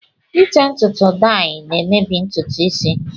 Ite ntutu dayi na-emebi ntutu isi